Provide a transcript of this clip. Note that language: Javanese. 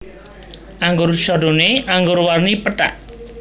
Anggur Chardonnay anggur warni pethak